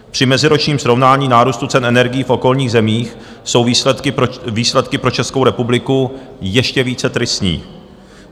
Při meziročním srovnání nárůstu cen energií v okolních zemích jsou výsledky pro Českou republiku ještě více tristní.